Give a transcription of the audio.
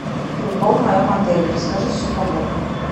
пейнтбол в моем отеле расскажи все подробно